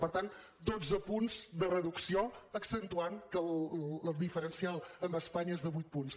per tant dotze punts de reducció accentuant que el diferencial amb espanya és de vuit punts